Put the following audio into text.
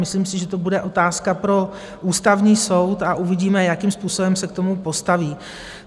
Myslím si, že to bude otázka pro Ústavní soud, a uvidíme, jakým způsobem se k tomu postaví.